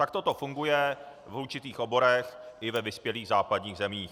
Takto to funguje v určitých oborech i ve vyspělých západních zemích.